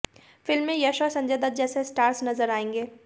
film में यश और संजय दत्त जैसे स्टार्स नजर आएंगे